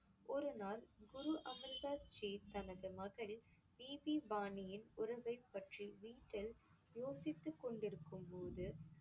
ஒரு நாள் குரு அமிர் தாஸ் ஜி தனது மகள் பிபி பாணியின் உறவைப் பற்றி வீட்டில் யோசித்துக் கொண்டிருக்கும்போது